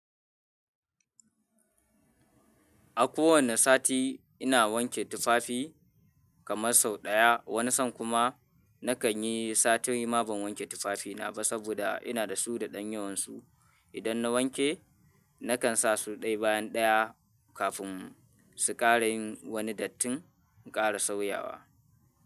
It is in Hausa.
A kowane sati ina wanke tufafi kamar sau ɗaya. Wani san kuma na kan yi sati hudu ma ban wanke tufafina ba saboda ina da su da ɗanyuwansu. Idan na wanke, na kan sa su ɗaya bayan ɗaya kafin su ƙara yin wani dattin ƙara sauyawa.